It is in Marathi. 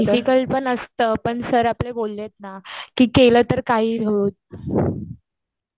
डिफिकल्ट पण असतं. पण सर आपले बोललेत ना कि केलं तर काहीही होईल.